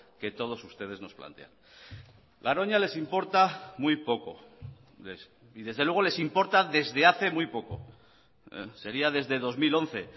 que todos ustedes nos plantean garoña les importa muy poco y desde luego les importa desde hace muy poco sería desde dos mil once